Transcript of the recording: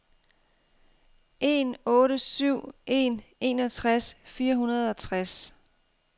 en otte syv en enogtres fire hundrede og tres